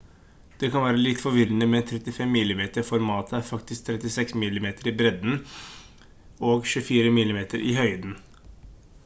det kan være litt forvirrende men 35mm-formatet er faktisk 36 mm i bredden og 24 mm i høyden